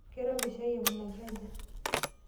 Keirobi shaai aikunaki aja?